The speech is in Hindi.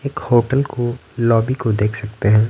एक होटल को लॉबी को देख सकते हैं।